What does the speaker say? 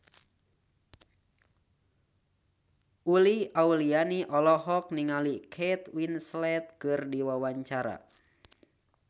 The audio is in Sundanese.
Uli Auliani olohok ningali Kate Winslet keur diwawancara